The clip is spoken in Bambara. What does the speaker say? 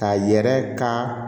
Ka yɛrɛ ka